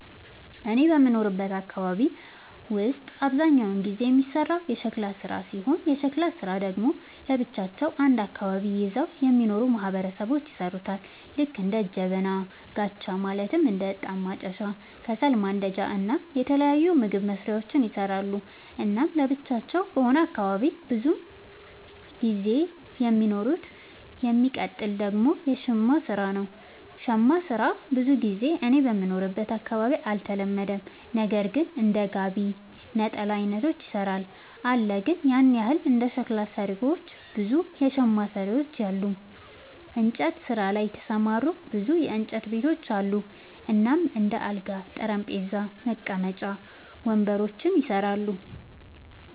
እኔ በምኖርበት አካባቢ ውስጥ አብዛኛውን ጊዜ የሚሰራው የሸክላ ስራ ሲሆን የሸክላ ስራ ደግሞ ለብቻቸው አንድ አካባቢን ይዘው የሚኖሩ ማህበረሰቦች ይሠሩታል ልክ እንደ ጀበና፣ ጋቻ ማለትም እንደ እጣን ማጨሻ፣ ከሰል ማንዳጃ እና የተለያዩ ምግብ መስሪያዎችን ይሰራሉ። እናም ለብቻቸው በሆነ አካባቢ ነው ብዙም ጊዜ የሚኖሩት። የሚቀጥል ደግሞ የሸማ ስራ ነው, ሸማ ስራ ብዙ ጊዜ እኔ በምኖርበት አካባቢ አልተለመደም ነገር ግን እንደ ጋቢ፣ ነጠላ አይነቶችን ይሰራሉ አለ ግን ያን ያህል እንደ ሸክላ ሰሪዎች ብዙ የሸማ ሰሪዎች የሉም። እንጨት ስራ ላይ የተሰማሩ ብዙ የእንጨት ቤቶች አሉ እናም እንደ አልጋ፣ ጠረጴዛ፣ መቀመጫ ወንበሮችን ይሰራሉ።